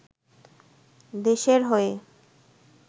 দেশের হয়ে